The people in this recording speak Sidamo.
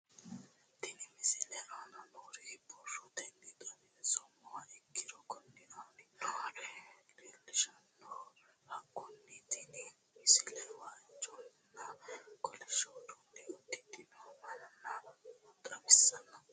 Tenne misile aana noore borrotenni xawisummoha ikirro kunni aane noore leelishano. Hakunno tinni misile waajonna kollishsho uddanna uddidhinno manna xawissanno.